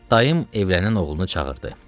Dayım evlənən oğlunu çağırdı.